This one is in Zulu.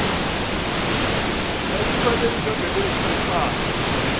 yayikhwelele ingengelezi yempandla